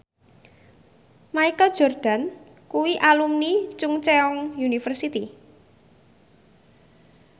Michael Jordan kuwi alumni Chungceong University